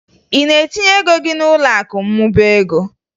Ị ga-etinye ego gị n'ụlọakụ mmụba ego?